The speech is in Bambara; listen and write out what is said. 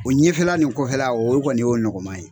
O ɲɛfɛla nin kɔfɛla o kɔni o y'o nɔgɔma ye